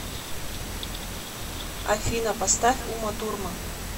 афина поставь уматурман